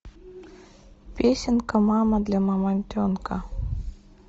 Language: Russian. песенка мама для мамонтенка